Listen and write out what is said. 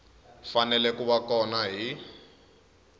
fanele ku va kona hi